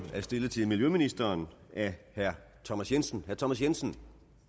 er stillet til miljøministeren af herre thomas jensen thomas jensen